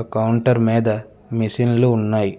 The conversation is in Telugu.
ఆ కౌంటర్ మీద మిషన్లు ఉన్నాయి